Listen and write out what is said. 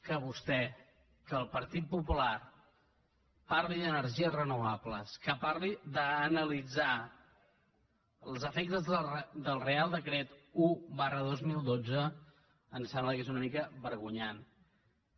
que vostè que el partit popular parli d’energies renovables que parli d’analitzar els efectes del reial decret un dos mil dotze ens sembla que és una mica vergonyós